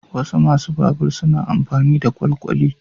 Wasu masu babur suna amfani da kwalkwali.